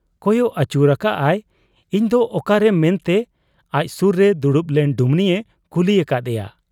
ᱠᱚᱭᱚᱜ ᱟᱹᱪᱩᱨ ᱟᱠᱟᱜ ᱟᱭ, 'ᱤᱧ ᱫᱚ ᱚᱠᱟᱨᱮ, ᱢᱮᱱᱛᱮ ᱟᱡ ᱥᱩᱨ ᱨᱮ ᱫᱩᱲᱩᱵ ᱞᱮᱱ ᱰᱩᱢᱱᱤᱭᱮ ᱠᱩᱞᱤ ᱟᱠᱟᱫ ᱮᱭᱟ ᱾